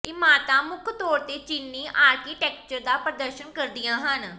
ਇਮਾਰਤਾਂ ਮੁੱਖ ਤੌਰ ਤੇ ਚੀਨੀ ਆਰਕੀਟੈਕਚਰ ਦਾ ਪ੍ਰਦਰਸ਼ਨ ਕਰਦੀਆਂ ਹਨ